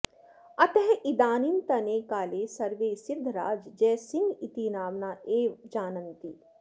अतः इदानींतने काले सर्वे सिद्धराज जयसिंह इति नाम्ना एव जानन्ति